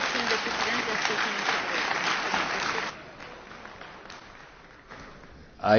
Ai sensi del regolamento, la votazione sarà effettuata a scrutinio segreto.